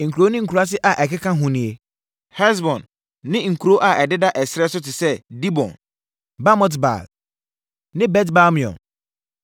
Nkuro ne nkuraase a ɛkeka hoɔ nie: Hesbon ne nkuro a ɛdeda ɛserɛ so te sɛ Dibon, Bamot-Baal ne Bet-Baal-Meon,